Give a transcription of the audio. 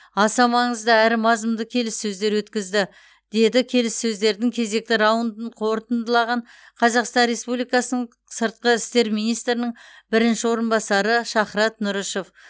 аса маңызды әрі мазмұнды келіссөздер өткізді деді келіссөздердің кезекті раундын қорытындылаған қазақстан республикасының сыртқы істер министрінің бірінші орынбасары шахрат нұрышев